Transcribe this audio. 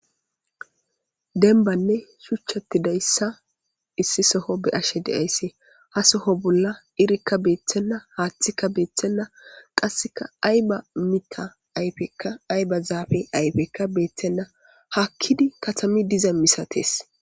denbanne shuchchatti dayssa issi soho be ashe deaysse ha soho bolla irikka beeththenna haaththika beeththenna qasseka ayba mita ayfekka ayba zaafe ayfekka beeththenna hakkidi katami diza misates